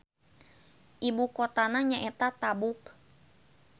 Ibu kotana nyaeta Tabuk.